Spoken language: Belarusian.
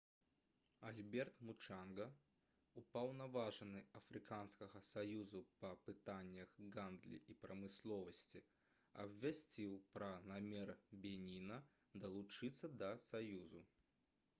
альберт мучанга упаўнаважаны афрыканскага саюзу па пытаннях гандлі і прамысловасці абвясціў пра намер беніна далучыцца да саюзу